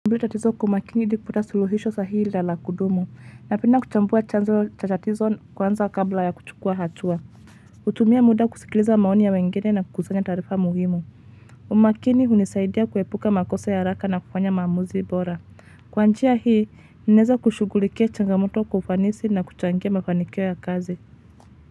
Mbili tatizo kwa umakini ili kuputa suluhisho sahihi na la kudumu, napenda kuchambua chanzo cha tatizo kwanza kabla ya kuchukua hatua. Hutumia muda kusikiliza maoni ya wengine na kukusanya taarifa muhimu. Umakini hunisaidia kuepuka makosa ya haraka na kufanya maamuzi bora. Kwa njia hii, ninaeza kushughulikia changamoto kwa ufanisi na kuchangia mafanikio ya kazi.